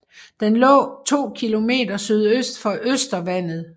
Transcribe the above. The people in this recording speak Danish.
Den lå 2 km sydøst for Øster Vandet